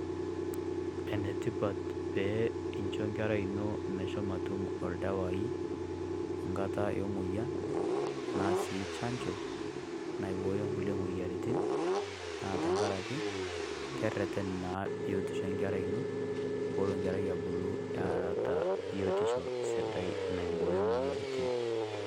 Enetipat pee incho nkerai ino meshomo atum oldawai nkata e moyian, anaa sii chanjo naibooyo kulie moyiaritin, naa tenkaraki, kereten naa biotisho enkerai ino pelo abulu enkerai eeta biotisho sidai naiboyo imoyiaritin.